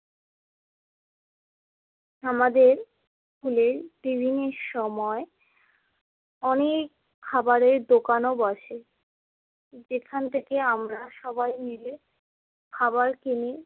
আমাদের স্কুলের টিফিনের সময় অনেক খাবারের দোকানও বসে। যেখান থেকে আমরা সবাই মিলে খাবার কিনি।